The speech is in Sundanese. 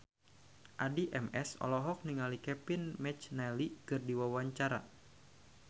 Addie MS olohok ningali Kevin McNally keur diwawancara